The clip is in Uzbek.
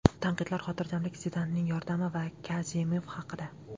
Tanqidlar, xotirjamlik, Zidanning yordami va Kazemif haqida.